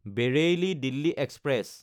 বেৰেইলী–দিল্লী express